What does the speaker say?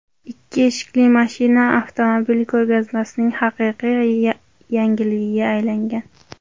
Ikki eshikli mashina avtomobil ko‘rgazmasining haqiqiy yangiligiga aylangan.